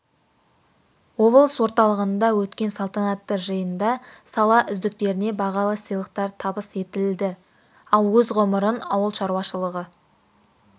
облыс орталығында өткен салтанатты жиында сала үздіктеріне бағалы сыйлықтар табыс етілді ал өз ғұмырын ауыл шаруашылығы